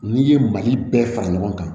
N'i ye mali bɛɛ fara ɲɔgɔn kan